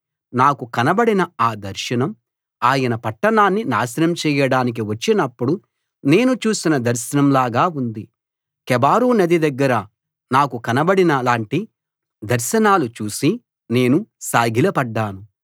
నాకు కనబడిన ఆ దర్శనం ఆయన పట్టణాన్ని నాశనం చేయడానికి వచ్చినప్పుడు నేను చూసిన దర్శనం లాగా ఉంది కెబారు నది దగ్గర నాకు కనబడిన లాంటి దర్శనాలు చూసి నేను సాగిలపడ్డాను